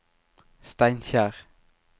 Steinkjer